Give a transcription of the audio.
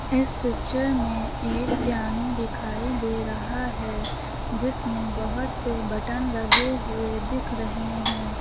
इस पिक्चर में एक पियानो दिखाई दे रहा है जिसमें बहोत से बटन लगे हुए दिख रहे हैं।